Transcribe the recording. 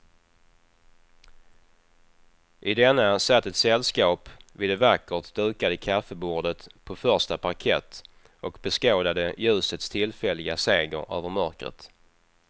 I denna satt ett sällskap vid det vackert dukade kaffebordet på första parkett och beskådade ljusets tillfälliga seger över mörkret.